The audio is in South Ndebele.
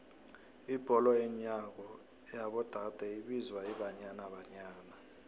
ibholo yenyawo yabo dade ibizwa ibanyana banyana